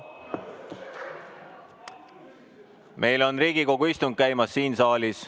Meil on Riigikogu istung käimas siin saalis.